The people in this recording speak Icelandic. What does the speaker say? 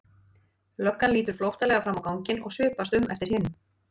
Löggan lítur flóttalega fram á ganginn og svipast um eftir hinum.